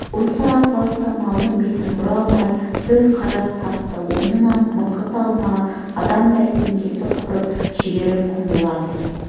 осы арпалыста малдың бетін бұра алмай зіл қара тасты орнынан мызғыта алмаған адамдай діңкесі құрып жігері құм болды